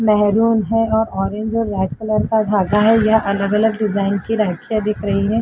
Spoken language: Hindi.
मेहरून है और ऑरेंज है लाइट कलर का धागा है। यह अलग-अलग डिजाइन की राखियां बिक रही हैं।